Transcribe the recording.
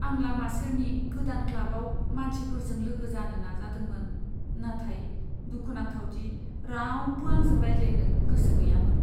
आं लामा सेरनि गोदान क्लाबाव मानसिफोरजों लोगो जानो नाजादोंमोन, नाथाय दुखुनांथाव दि रावबो आंजों रायज्लायनो गोसो गैयामोन!